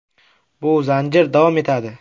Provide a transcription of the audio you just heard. Bu zanjir davom etadi.